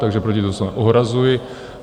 Takže proti tomu se ohrazuji.